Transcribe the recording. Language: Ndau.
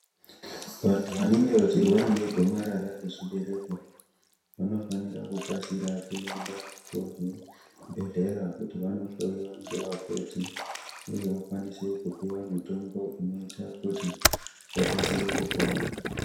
Vantu vanenge vachirwara negomarara rechibereko Vanofanira kukasika kuenda kuzvibhedhlera kuti vandohloiwa nevakoti uye vakwanise kupiwa mitombo inoita kuti vakasire kupona.